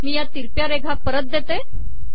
मी या तिरप्या रेघा परत देतो